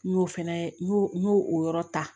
N y'o fɛnɛ n y'o n y'o o yɔrɔ ta